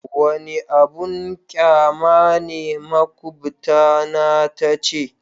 Wani abin banƙyama ne makubtana ta ce.